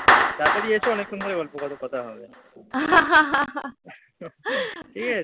তাড়াতাড়ি এসো অনেকক্ষণ ধরে গল্প করব, কথা হবে। ঠিক আছে?